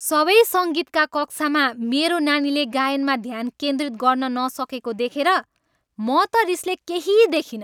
सबै सङ्गीतका कक्षामा मेरो नानीले गायनमा ध्यान केन्द्रित गर्न नसकेको देखेर म त रिसले केही दखिनँ।